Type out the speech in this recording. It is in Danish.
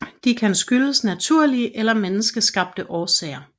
De kan skyldes naturlige eller menneskeskabte årsager